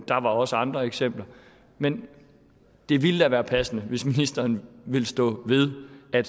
der var også andre eksempler men det ville da være passende hvis ministeren ville stå ved at